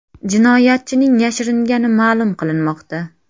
Jinoyatchining yashiringani ma’lum qilinmoqda.